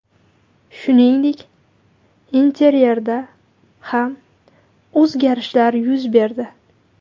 Shuningdek, interyerda ham o‘zgarishlar yuz berdi.